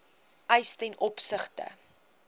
eis ten opsigte